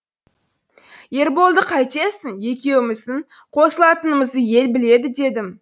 ерболды қайтесің екеуіміздің қосылатынымызды ел біледі дедім